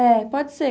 É, pode ser.